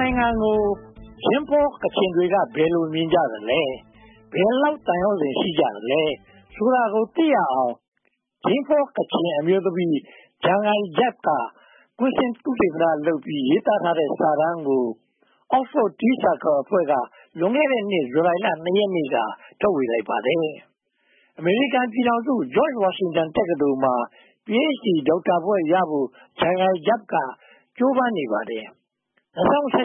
နိုင်ငံကို ဂျိမ်းဖောကချင်တွေက ဘယ်လိုမြင်ကြသလဲ။ ဘယ်လောက်သံယောဇဉ် ရှိသလဲဆိုတာကို သိရအောင် ဂျိမ်းဖောကချင်အမျိုးသမီး ‘ဂျာငိုင်ဂျပ် ’ က ကွင်းဆင်းသုတေသနလုပ်ပြီး ရေးထားတဲ့စာတမ်းကို Oxford Tea Circle အဖွဲ့က လွန်ခဲ့တဲ့နှစ် ဇူလိုင်လ ရက်နေ့က ထုတ်ဝေလိုက်ပါတယ်။ အမေရိကန်ပြည်ထောင်စု George Washington တက္ကသိုလ်မှာ Ph.D ဒေါက်တာဘွဲ့ရဖို့ ဂျာငိုင်ဂျပ်က ကြိုးပမ်းနေပါတယ်။ ၂၀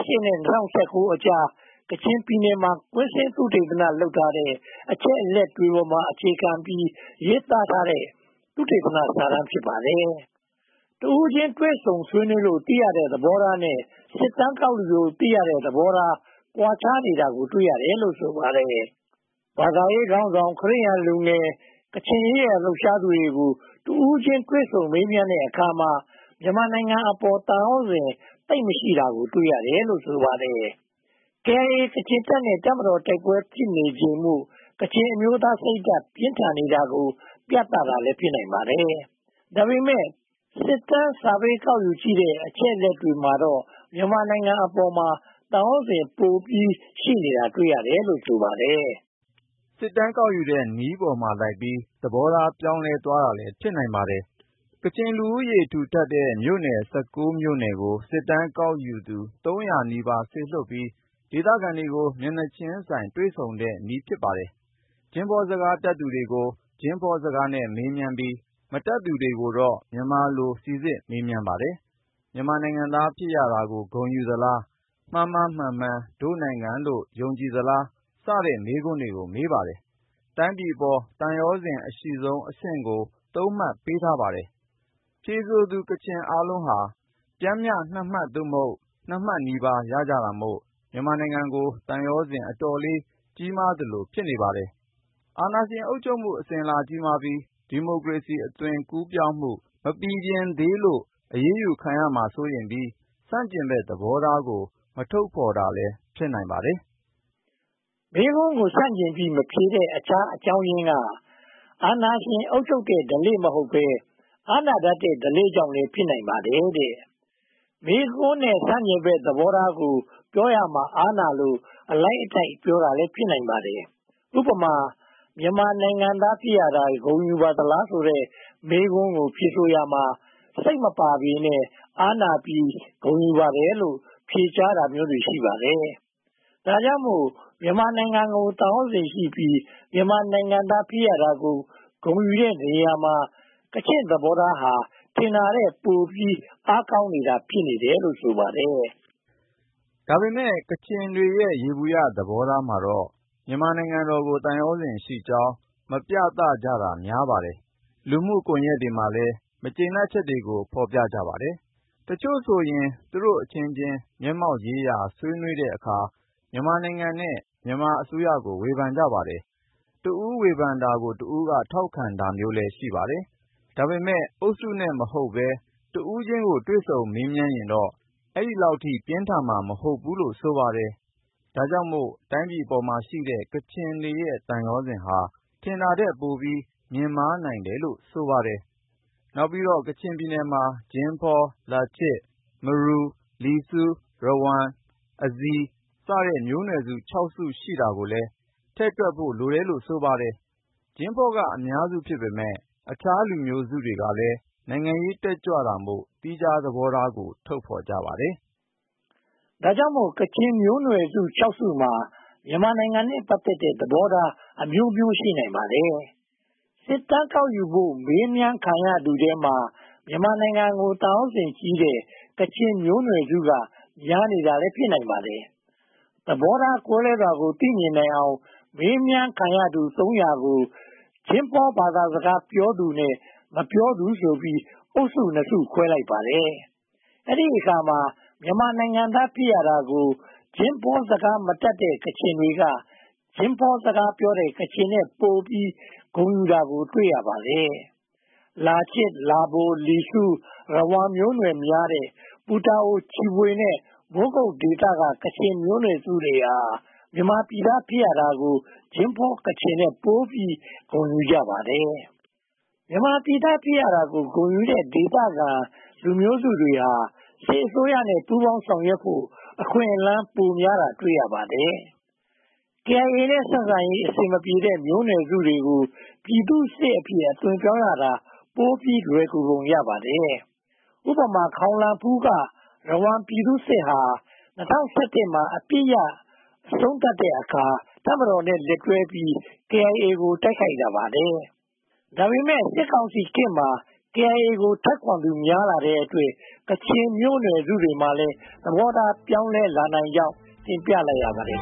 ၁၈ နဲ့ ၂၀၁၉ ကြား ကချင်ပြည်နယ်မှာ ကွင်းဆင်းသုတေသန လုပ်ထားတဲ့ အချက်အလက်တွေပေါ်မှာ အခြေခံပြီးရေးထားတဲ့ သုတေသနစာတမ်း ဖြစ်ပါတယ်။ တဦးချင်းတွေ့ဆုံမေးမြန်းလို့ သိရတဲ့သဘောထားနဲ့ စစ်တမ်းကောက်ယူလို့ သိရတဲ့ သဘောထားကွာခြားနေတာကို တွေ့ရတယ်လို့ ဆိုပါတယ်။ ဘာသာရေးခေါင်းဆောင်၊ ခရစ်ယာန်လူငယ်၊ ကချင်ရေးရာ လှုပ်ရှားသူတွေကို တဦးချင်းတွေ့ဆုံမေးမြန်းတဲ့အခါမှာ မြန်မာနိုင်ငံအပေါ် သံယောဇဉ် သိပ်မရှိတာကို တွေ့ရတယ်လို့ ဆိုပါတယ်။ KIA ကချင်တပ်နဲ့ တပ်မတော် တိုက်ပွဲဖြစ်ပွားနေချိန်မို့ ကချင်အမျိုးသား စိတ်ဓါတ်ပြင်းထန်နေတာ ပြသတာလည်း ဖြစ်နိုင်ပါတယ်။ ဒါပေမဲ့ စစ်တမ်း ကောက်ယူလို့ ရရှိထားတဲ့ အချက်အလက်တွေမှာတော့ မြန်မာနိုင်ငံပေါ်မှာ သံယောဇဉ် ပိုပြီးရှိတာတွေ့ရတယ်လို့ ဆိုပါတယ်။ စစ်တမ်းကောက်ယူတဲ့ နည်းပေါ်မှာလိုက်ပြီး သဘောထားပြောင်းလဲသွားတာလည်း ဖြစ်နိုင်ပါတယ်။ ကချင်လူဦးရေ ထူထပ်တဲ့ မြို့နယ် နယ်ကို စစ်တမ်းကောက်သူ သုံးရာနီးပါး စေလွှတ်ပြီးတော့ ဒေသခံတွေကို မျက်နှာချင်းဆိုင် တွေ့ဆုံတဲ့နည်း ဖြစ်ပါတယ်။ ဂျင်းဖောစကားတတ်သူတွေကို ဂျင်းဖောစကားနဲ့ မေးမြန်းပြီး၊ မတတ်သူတွေကိုတော့ မြန်မာလို စီစစ်မေးမြန်းပါတယ်။ မြန်မာနိုင်ငံသား ဖြစ်ရတာကို ဂုဏ်ယူသလား။ မှားမှားမှန်မှန် ဒို့နိုင်ငံလို့ ယုံကြည်သလား စတဲ့ မေးခွန်းတွေကို မေးပါတယ်။ တိုင်းပြည်အပေါ် သံယောဇဉ်အရှိဆုံးအဆင့်ကို မှတ် ပေးထားပါတယ်။ ဖြေဆိုသူ ကချင်အားလုံးဟာ ပျမ်းမျှအမှတ် သို့မဟုတ် မှတ်နီးပါး ရကြတာမို့ မြန်မာနိုင်ငံကို သံယောဇဉ် အတော်ကြီးမားသလို ဖြစ်နေပါတယ်။ အာဏာရှင် အုပ်ချုပ်မှု အစဉ်အလာကြီးမားပြီး ဒီမိုကရေစီ အသွင်ပြောင်းမှု မပီပြင်သေးလို့ အရေးယူခံရမှာ စိုးရိမ်ရပြီး ဆန့်ကျင်ဘက်သဘောထားကို မထုတ်ဖော်တာလည်း ဖြစ်နိုင်ပါတယ်။ မေးခွန်းကို ဆန့်ကျင်ပြီး မဖြေဘဲ၊ အခြားအကြောင်းရင်းက အာဏာရှင်အုပ်ချုပ်တဲ့ဓလေ့ မဟုတ်ဘဲ အားနာတတ်တဲ့ ဓလေ့ကြောင့်လည်း ဖြစ်နိုင်ပါတယ်။ မေးခွန်းနဲ့ ဆန့်ကျင်ဘက် သဘောထားကို ပြောရမှာ အားနာလို အလိုက်အထိုက် ပြောတာလည်း ဖြစ်နိုင်ပါတယ်။ ဥပမာ မြန်မာနိုင်ငံသား ဖြစ်ရတာ ဂုဏ်ယူပါသလားဆိုတဲ့ မေးခွန်းကို ဖြေဆိုရာမှာ စိတ်မပါပေမယ့် အားနာပြီး ဂုဏ်ယူပါတယ်လို့ ဖြေကြားတာမျိုးတွေ ရှိပါတယ်။ ဒါကြောင့်မို့ မြန်မာနိုင်ငံကို သံယောဇဉ်ရှိပြီး မြန်မာနိုင်ငံသား ဖြစ်ရတာကို ဂုဏ်ယူတဲ့နေရာမှာ ကချင့်သဘောထားဟာ ထင်တာထက်ပိုပြီး အားကောင်းနေတာ ဖြစ်တယ်လို့ ဆိုပါတယ်။ ဒါပေမဲ့ ကချင်တွေရဲ့ ယေဘုယျသဘောထားမှာတော့ မြန်မာနိုင်ငံတော်ကို သံယောဇဉ်ရှိကြောင်း မပြသကြတာ များပါတယ်။ လူမှုကွန်ရက်တွေမှာလည်း မကျေနပ်ချက်တွေကို ဖော်ပြကြပါတယ်။ တချို့ဆိုရင် သူတို့အချင်းချင်း မျက်မှောက်ရေးရာ ဆွေးနွေးတဲ့အခါမှာ မြန်မာနိုင်ငံနဲ့ မြန်မာအစိုးရကို ဝေဖန်ကြပါတယ်။ တဦးဝေဖန်တာကို တဦးက ထောက်ခံတာမျိုးလည်း ရှိပါတယ်။ ဒါပေမဲ့ အုပ်စုနဲ့မဟုတ်ဘဲ တဦးချင်းကို တွေ့ဆုံမေးမြန်းရင်တော့ အဲဒီလောက် ပြင်းထန်မှာ မဟုတ်ဘူးလို့ ဆိုပါတယ်။ ဒါကြောင့်မို့ တိုင်းပြည်အပေါ်မှာရှိတဲ့ ကချင်တွေရဲ့ သံယောဇဉ်ဟာ ထင်တာထက်ပိုပြီး မြင့်မားနိုင်တယ်လို့ ဆိုပါတယ်။ နောက်ပြီးတော့ ကချင်ပြည်နယ်မှာ ဂျင်းဖော၊ လာချစ်၊ လာဗို ၊ လီစူး၊ ရဝမ်၊ ဇိုင်းဝ စတဲ့ မျိုးနွယ်စု စု ရှိတာကိုလည်း ထည့်တွက်ဖို့ လိုတယ်လို့ ဆိုပါတယ်။ ဂျင်းဖောက အများစု ဖြစ်ပေမယ့် အခြားလူမျိုးစုတွေကလည်း နိုင်ငံရေးတက်ကြွတာမို့ သီးခြားသဘောထားကို ထုတ်ဖောကြပါတယ်။ ဒါကြောင့်မို့ ကချင်မျိုးနွယ်စု စုမှာ မြန်မာနိုင်ငံနဲ့ ပတ်သက်တဲ့ သဘောထားအမျိုးမျိုး ရှိနိုင်ပါတယ်။ စစ်တမ်းကောက်ယူဖို့ မေးမြန်းခံရသူတွေထဲမှာ မြန်မာနိုင်ငံကို သံယောဇဉ်ကြီးတဲ့ ကချင်မျိုးနွယ်စုက များနေတာလည်း ဖြစ်နိုင်ပါတယ်။ သဘောထားကွဲလွဲတာကို သိမြင်နိုင်အောင် မေးမြန်းခံရသူ သုံးရာကို ဂျင်းဖောစကားပြောသူနဲ့ မပြောသူဆိုပြီး အုပ်စုနှစ်စု ခွဲလိုက်ပါတယ်။ အဲဒီအခါမှာ မြန်မာနိုင်ငံသား ဖြစ်ရတာကို ဂျင်းဖောစကားမပြောတဲ့ ကချင်တွေက ဂျင်းဖောစကားပြောတဲ့ ကချင်တွေထက်ပိုပြီး ဂုဏ်ယူတာကို တွေ့ရပါတယ်။ လာချစ်၊ လာဗို၊ လီစူးနဲ့ ရဝမ်မျိုးနွယ်များတဲ့ ပူတာအို၊ ချီဖွေ နဲ့ မိုးကုတ်ဒေသ ကချင်မျိုးနွယ်စုတွေဟာ မြန်မာပြည်သား ဖြစ်ရတာမို့ ဂျင်းဖောကချင်ထက်ပိုပြီး ဂုဏ်ယူကြပါတယ်။ မြန်မာပြည်သား ဖြစ်ရတာကို ဂုဏ်ယူနေတဲ့ ဒေသခံလူမျိုးစုတွေဟာ စစ်အစိုးရနဲ့ ပူးပေါင်းဆောင်ရွက်ဖို့ အခွင့်အလမ်း ပိုများတာကို တွေ့ရပါတယ်။ KIA နဲ့ ဆက်ဆံရေး အဆင်မပြေတဲ့ မျိုးနွယ်စုတွေကို ပြည်သူ့စစ်အဖြစ် အသွင်ပြောင်းရတာ ပိုပြီးလွယ်ကူပုံ ရပါတယ်။ ဥပမာ ခေါင်လန်ဖူးက ရဝမ်ပြည်သူ့စစ်ဟာ ၂၀၁၁ မှာ အပစ်ရပ်အဆုံးသတ်တဲ့အခါ တပ်မတော်နဲ့ လက်တွဲပြီး KIA ကို တိုက်ခိုက်လာပါတယ်။ ဒါပေမဲ့ စစ်ကောင်စီခေတ်မှာ KIA ကို ထောက်ခံသူများလာတဲ့အတွက် ကချင်မျိုးနွယ်စုတွေမှာလည်း သဘောထား ပြောင်းလဲလာနိုင်ကြောင်း တင်ပြလိုက်ရပါတယ်